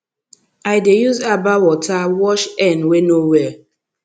i dey use herbal water wash hen wey no well